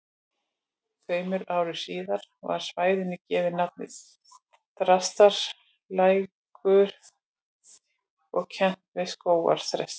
Tveimur árum síðar var svæðinu gefið nafnið Þrastaskógur og kennt við skógarþresti.